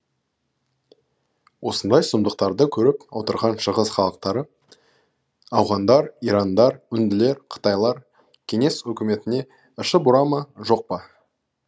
осындай сұмдықтарды көріп отырған шығыс халықтары ауғандар ирандар үнділер қытайлар кеңес өкіметіне іші бұра ма жоқ па